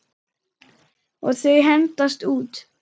Og þau hendast út.